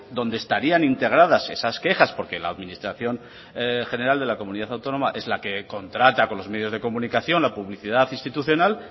donde estarían integradas esas quejas porque la administración general de la comunidad autónoma es la que contrata con los medios de comunicación la publicidad institucional